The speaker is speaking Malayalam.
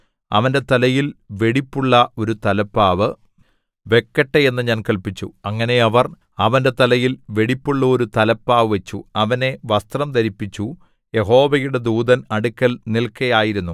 അവന്റെ തലയിൽ വെടിപ്പുള്ള ഒരു തലപ്പാവ് വെക്കട്ടെ എന്ന് ഞാന്‍ കല്പിച്ചു അങ്ങനെ അവർ അവന്റെ തലയിൽ വെടിപ്പുള്ളോരു തലപ്പാവ് വച്ചു അവനെ വസ്ത്രം ധരിപ്പിച്ചു യഹോവയുടെ ദൂതൻ അടുക്കൽ നിൽക്കയായിരുന്നു